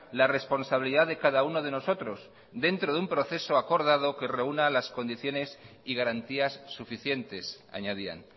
la responsabilidad de cada uno de nosotros dentro de un proceso acordado que reúna las condiciones y garantías suficientes añadían